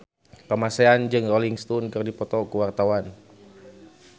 Kamasean jeung Rolling Stone keur dipoto ku wartawan